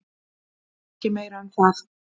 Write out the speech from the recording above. Ekki meira um það.